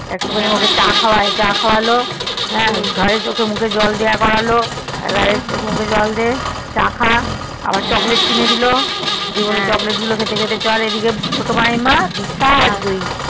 একটু খানি চা খাওয়ালো ঘরে চোখে মুখে জল দিয়ে করালো চোখে মাঝে জল দিয়ে চা খাওয়া আবার chocolate কিনে দিলো দিয়ে chocolate খেতে খেতে চল ছোট মাইম আহ জিসাআর তুই